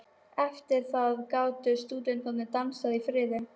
Eftir það gátu stúdentar dansað í friði.